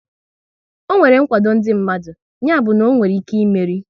Ọ nwere nkwado ndị mmadụ, ya bụ na onwere ike ịmeri